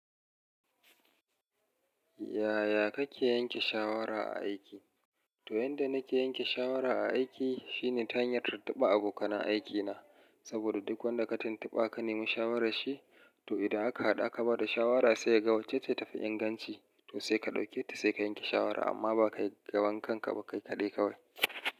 Yaya kake yanke shawara a aiki? To yanda nake yanke shawara a aiki shine ta hanyar tuntuba abokan aiki na. Saboda duk wanda ka tuntuɓa ka nemi shawarar shi, to idan aka haɗa aka bada shawara sai ka ga wacce ta tafi inganci to sai ka ɗauke ta sai ka yanke shawara amma ba ka ga bankan ka ba kai kaɗai kawai.